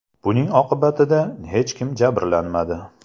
Buning oqibatida hech kim jabrlanmadi.